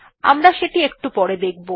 আমরা সেটি একটু পরে দেখব